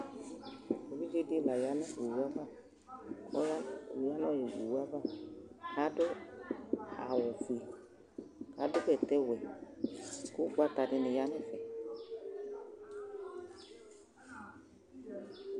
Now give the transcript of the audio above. Evidzedi layanʋ owʋ ava Ɔyanʋ owʋ nʋli ava adʋ awʋfue adʋ bɛtɛwɛ kʋ ʋgbata dini yanʋ ɛfɛ